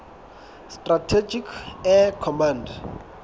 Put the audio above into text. strategic air command